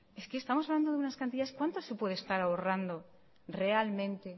es que estamos hablando de unas cantidades cuánto se puede estar ahorrando realmente